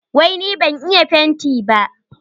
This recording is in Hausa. Wai ni ban iya fenti ba?